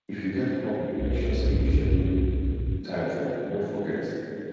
if you get hobby make sure say you schedule time for am no forget